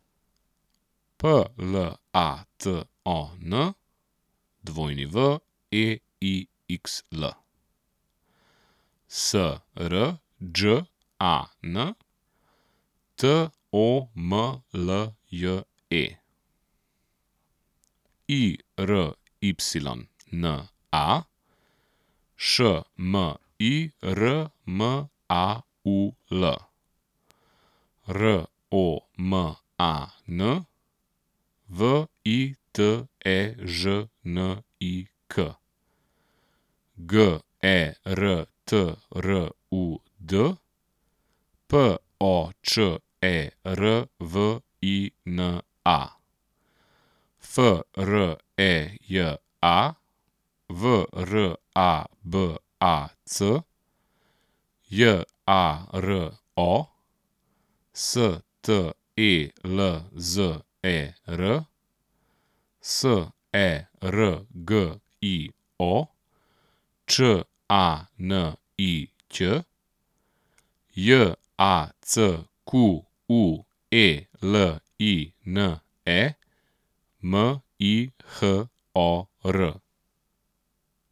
P L A T O N, W E I X L; S R Đ A N, T O M L J E; I R Y N A, Š M I R M A U L; R O M A N, V I T E Ž N I K; G E R T R U D, P O Č E R V I N A; F R E J A, V R A B A C; J A R O, S T E L Z E R; S E R G I O, Č A N I Ć; J A C Q U E L I N E, M I H O R.